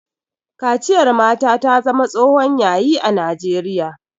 Kaciyar mata ta zama tsohon Yayi a najeriya